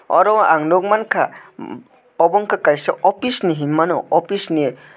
oro ang nukmankha obo ungkha kaisa office no hinmano officeni.